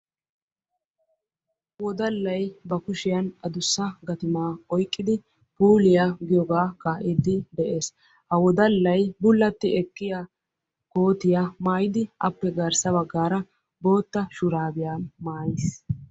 Woddallay ba kushshiyan addussa gatumaa oyqqidi puuliyaa giyogaa kaa'iidi de'ees. Ha woddallay bulatti ekkiya kootiya maayidi appe garssa baggaara bootta shuraabiya maayiis.